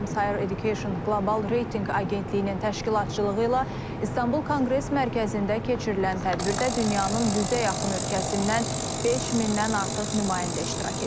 Times Higher Education Qlobal reytinq agentliyinin təşkilatçılığı ilə İstanbul Konqres Mərkəzində keçirilən tədbirdə dünyanın yüzə yaxın ölkəsindən 5000-dən artıq nümayəndə iştirak edir.